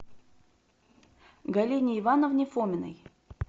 галине ивановне фоминой